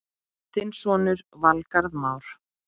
Þinn sonur, Valgarð Már.